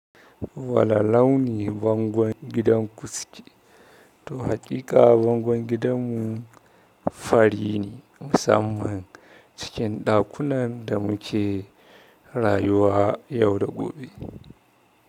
Wani launi bangon gidan ku suke? To haƙiƙa bangon gidanmu fari ne musamman cikin ɗakunan da muke rayuwa yau da gobe.